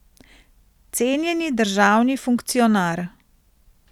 Cenjeni državni funkcionar.